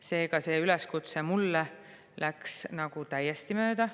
Seega, see üleskutse mulle läks nagu täiesti mööda.